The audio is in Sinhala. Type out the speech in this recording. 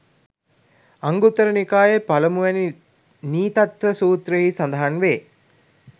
අංගුත්තර නිකායේ පළමුවැනි නීතත්ථ සූත්‍රයෙහි සඳහන් වේ.